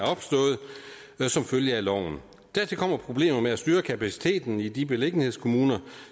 som følge af loven dertil kommer problemer med at styre kapaciteten i de beliggenhedskommuner